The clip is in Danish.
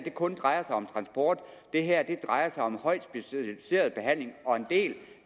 kun drejer sig om transport det her drejer sig om højt specialiseret behandling og en del